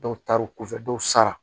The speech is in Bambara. Dɔw taar'u kɔfɛ dɔw sara